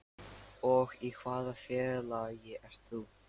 Og í hvaða félagi ert þú?